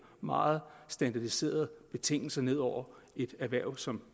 meget standardiserede betingelser ned over et erhverv som